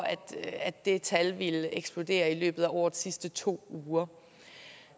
at det tal ville eksplodere i løbet af årets sidste to uger